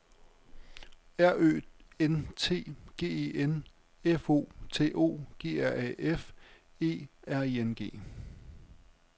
R Ø N T G E N F O T O G R A F E R I N G